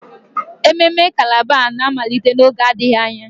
Ememme calabar a na-amalite n'oge adịghị anya?